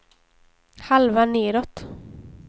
halva nedåt